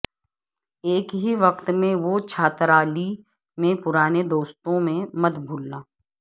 ایک ہی وقت میں وہ چھاترالی میں پرانے دوستوں میں مت بھولنا